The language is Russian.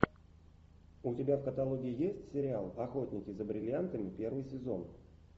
у тебя в каталоге есть сериал охотники за бриллиантами первый сезон